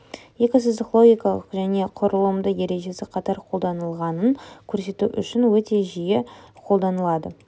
екі сызық логикалық және құрылымды ережесі қатар қолданылғанын көрсету үшін өте жиі қолданылады